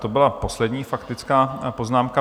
To byla poslední faktická poznámka.